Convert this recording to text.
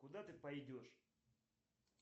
куда ты пойдешь